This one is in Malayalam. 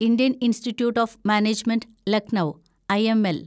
Indian institute of management Lucknow (IML)